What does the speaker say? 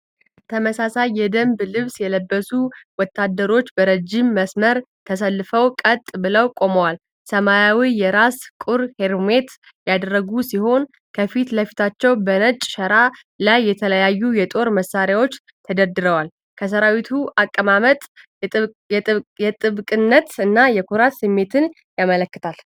ተመሳሳይ የደንብ ልብስ የለበሱ ወታደሮች በረጅም መስመር ተሰልፈው ቀጥ ብለው ቆመዋል። ሰማያዊ የራስ ቁር (ሄልሜት) ያደረጉ ሲሆን፤ ከፊት ለፊታቸው በነጭ ሸራ ላይ የተለያዩ የጦር መሳሪያዎች ተደርድረዋል። የሰራዊቱ አቀማመጥ የጥብቅነት እና የኩራት ስሜትን ያመለክታል።